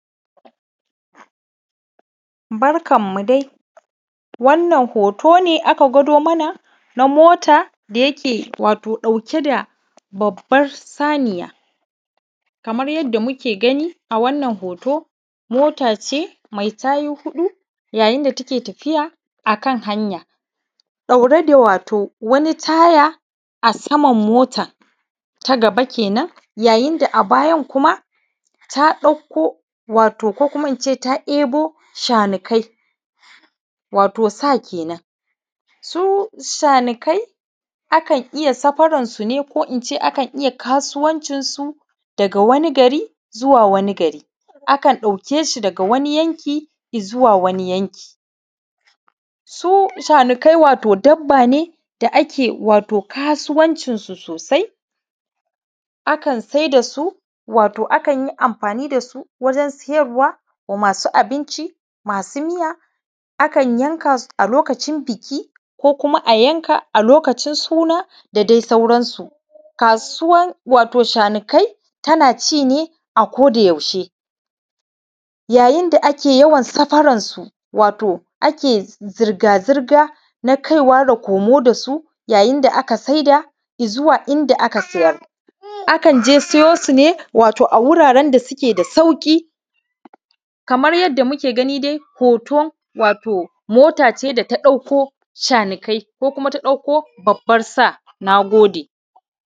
Barkanmu dai. Wannan hoto ne aka gwado mana na mota wato da yake ɗauke da babbar saniya. Kamar yadda muke gani a wannan hoto, mot ace mai tayu huɗu, yayin da take tafiya a kan hanya, ɗaure da wato wani taya a saman mota, ta gaba kenan. Yayin da a bayan kuma, ta ɗauko, wato ko kuma in ce, ta ɗebo shanukai, wato sa ke nan. Su shanukai, akan iya safaransu ne ko in ce akan iya kasuwancinsu daga wani gari zuwa wani gari. Akan ɗauke shi daga wani yanki i zuwa wani yanki. Su shanukai wato dabba ne da ake wato kasuwancinsu sosai, akan sai da su, wato akan yi amfani da su wajen siyarwa wa masu abinci, masu miya, akan yanka su a lokacin buki ko kuma a yanka a lokacin suna da dai sauransu. Kasuwan wato shanukai, tana ci ne a ko da yaushe, yayin da ake yawan safaransu, wato ake zirga zirga na kaiwa da komo da su, yayin da aka sai da i zuwa inda aka siyar. Akan je siyo su ne, wato a wurren da suke da sauƙi. Kamar yadda muke gani dai, hoto, wato mot ace da ta ɗauko shanukai ko kuma ta ɗauko babbar sa. Na gode.